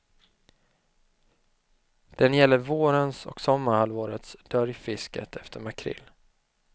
Den gäller vårens och sommarhalvårets dörjfisket efter makrill.